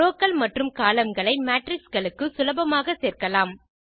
Rowகள் மற்றும் கோலம்ன் களை மேட்ரிக்ஸ் களுக்கு சுலபமாக சேர்க்கலாம்